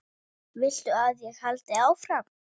Viltu að ég haldi áfram?